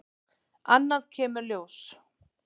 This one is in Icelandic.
Annað kemur ljós